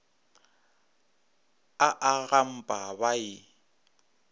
a a gampa ba e